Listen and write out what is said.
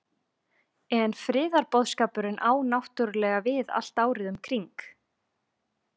En friðarboðskapurinn á náttúrulega við allt árið um kring?